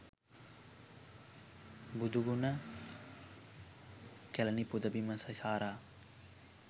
බුදුගුණ කැලණි පුදබිම සිසාරා